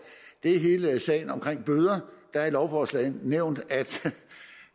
er hele sagen om bøder det er i lovforslaget nævnt